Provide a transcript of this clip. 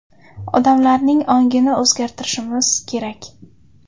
Odamlarning ongini o‘zgartirishimiz kerak.